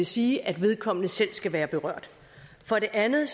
sige at vedkommende selv skal være berørt for det andet